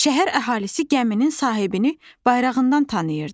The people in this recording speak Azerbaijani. Şəhər əhalisi gəminin sahibini bayrağından tanıyırdı.